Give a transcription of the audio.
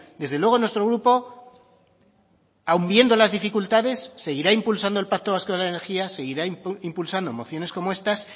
desde luego nuestro grupo aún viendo las dificultades seguirá impulsando el pacto vasco de la energía seguirá impulsando mociones como estas